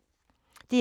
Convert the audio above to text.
DR1